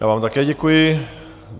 Já vám také děkuji.